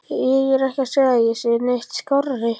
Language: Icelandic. Ég er ekki að segja að ég sé neitt skárri.